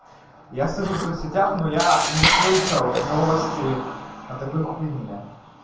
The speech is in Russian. я сижу в соцсетях но я не слышал новости о такой хуйне